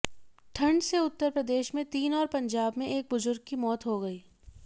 ठंड से उत्तर प्रदेश में तीन और पंजाब में एक बुजुर्ग की मौत हो गई